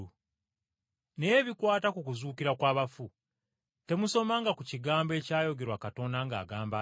Naye ebikwata ku kuzuukira kw’abafu, temusomanga ku kigambo ekyayogerwa Katonda ng’agamba nti,